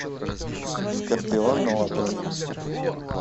скорпион на ладони